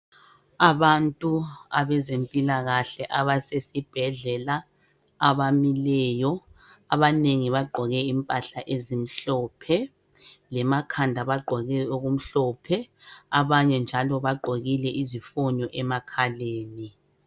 Abantu abezempilakahle abasesi bhedlela abamileyo, abanengi bagqoke impahla ezimhlophe, lemakhanda bagqoke okumhlophe, abanye njalo bagqokile izifonyo emakhaleni.